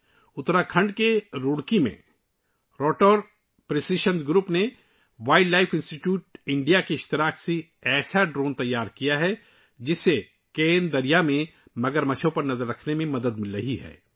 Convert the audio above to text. اتراکھنڈ کے روڑکی میں rotor precision groups نے wildlife institute of India کے ساتھ مل کر ایک ایسا ڈرون تیار کیا ہے، جس سے کین ندی میں مگرمچھوں پر نظر رکھنے میں مدد مل رہی ہے